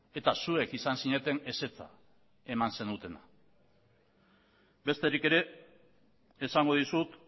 eta zuek izan zineten ezetza eman zenutena besterik ere esango dizut